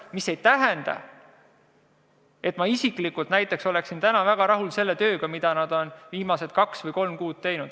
See aga ei tähenda, et ma isiklikult oleksin väga rahul tööga, mida nad on viimased kaks või kolm kuud teinud.